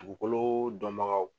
Dugukolo dɔnbagaw